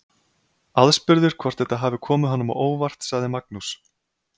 Aðspurður hvort þetta hafi komið honum á óvart sagði Magnús.